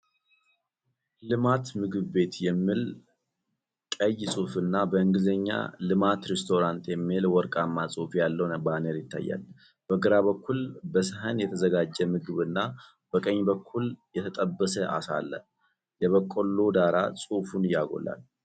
"ልማት ምግብ ቤት" የሚል ቀይ ጽሑፍና በእንግሊዝኛ "Lemat Restaurant" የሚል ወርቃማ ጽሑፍ ያለው ባነር ይታያል። በግራ በኩል በሰሀን የተዘጋጀ ምግብና በቀኝ በኩል የተጠበሰ ዓሳ አለ። የበቆሎ ዳራ ጽሑፉን ያጎላል።